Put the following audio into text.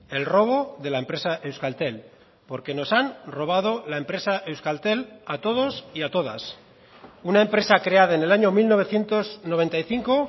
el robo de la empresa euskaltel porque nos han robado la empresa euskaltel a todos y a todas una empresa creada en el año mil novecientos noventa y cinco